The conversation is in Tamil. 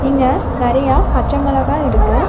இங்க நெறைய பச்ச மிளகா இருக்கு.